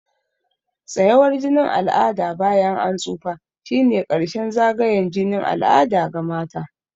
Tsayawar jinin al'ada bayan an tsufa shine ƙarshen zagayen jinin al'ada ga mata.